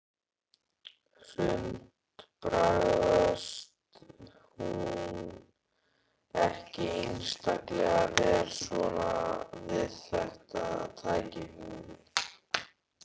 Hrund: Bragðast hún ekki einstaklega vel svona við þetta tækifæri?